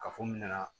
Kafo min nana